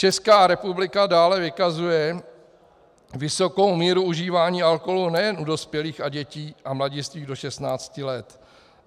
Česká republika dále vykazuje vysokou míru užívání alkoholu nejen u dospělých a dětí a mladistvých do 16 let.